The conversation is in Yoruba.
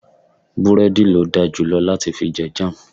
búrẹ́dì lo darjulo lati fi je Jam